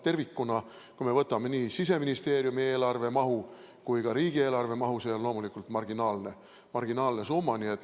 Tervikuna, kui me võtame nii Siseministeeriumi eelarve kui ka riigieelarve mahu, siis on see loomulikult marginaalne summa.